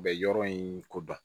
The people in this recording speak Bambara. U bɛ yɔrɔ in kodɔn